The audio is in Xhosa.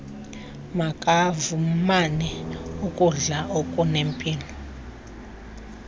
makafumane ukudla okunempilo